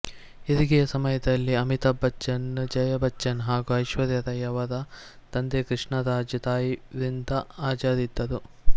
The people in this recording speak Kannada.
ಹೆರಿಗೆಯ ಸಮಯದಲ್ಲಿ ಅಮಿತಾಬ್ ಬಚ್ಚನ್ ಜಯ ಬಚ್ಚನ್ ಹಾಗೂ ಐಶ್ವರ್ಯ ರೈ ಅವರ ತಂದೆಕ್ರಿಷ್ಣರಾಜ್ ತಾಯಿ ವ್ರಿಂದ ಹಾಜರಿದ್ದರು